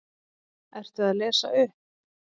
Ertu að lesa upp?